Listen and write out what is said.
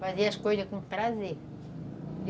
Fazer as coisas com prazer.